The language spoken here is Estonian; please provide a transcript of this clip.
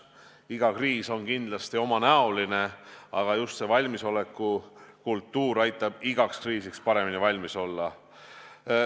Iga kriis on omanäoline, aga just valmisoleku kultuur aitab igaks kriisiks paremini valmis olla.